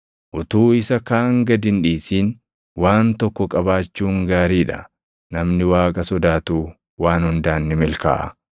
Utuu isa kaan gad hin dhiisin waan tokko qabaachuun gaarii dha. Namni Waaqa sodaatu waan hundaan ni milkaaʼa.